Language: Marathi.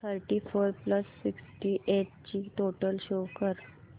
thirty four plus sixty eight ची टोटल शो कर